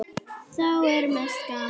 Þá er mest gaman.